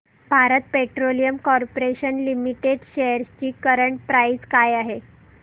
Bharat petroleum corporation limited shares ची current price काय आहे